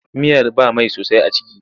Miyar ba mai sosai a ciki.